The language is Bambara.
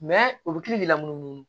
olu kilo b'i la munumunu